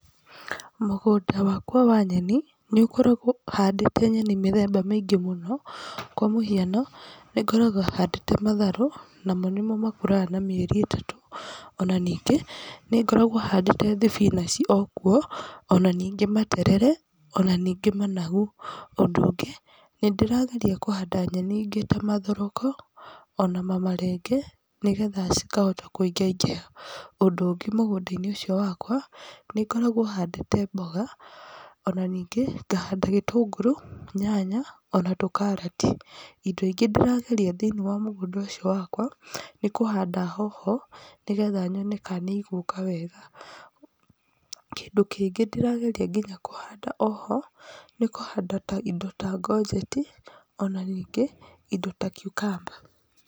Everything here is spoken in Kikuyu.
Mũgũnda wakwa wa nyeni ningoragwo handĩte nyeni mithemba mĩingĩ mũno kwa mũhiano nĩngoragwo handĩte matharũ namo nĩmo makũraga na mĩeri ĩtatũ ona ningĩ nĩngoragwo handĩte thibinaci okuo ona nĩngĩ materere ona ningĩ managu ũndũ ũngĩ nindĩrageria kũhanda nyeni ingĩ ta mathoroko ona mamarenge nĩgetha cikahota kuingaingĩha . Ũndũ ũngĩ mũgúũda-inĩ ũcio wakwa nĩngoragwo handĩte mboga ona ningĩ ngahanda gĩtũngũrũ nyanya ona tũkarati . Indo ingĩ ndĩrageria thĩinĩ wa mũgũnda ũcio wakwa nĩkũhanda hoho nĩgetha nyone ka nĩigũka wega. Kĩndũ kĩngĩ ndĩrageria nginya kũhanda oho ni kũhanda indo ta ngonjeti ona ningĩ indo ta cucumber.